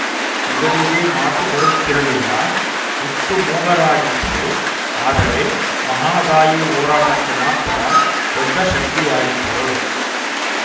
ಇವರಿಗೆ ಮಾತು ಬರುತ್ತಿರಲಿಲ್ಲ ಹುಟ್ಟು ಮೂಗರಾಗಿದ್ದರು ಆದರೆ ಮಹದಾಯಿ ಹೋರಾಟಕ್ಕೆ ಮಾತ್ರ ದೊಡ್ಡ ಶಕ್ತಿಯಾಗಿದ್ದರು